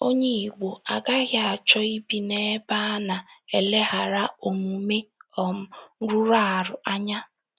Onye Igbo agaghị achọ ibi n’ebe a na - eleghara omume um rụrụ arụ anya.